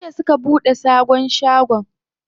Jiya suka buɗe sabon shagon.